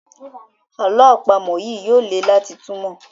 àlọ́ àpamọ̀ yí yóò lẹ láti túmọ.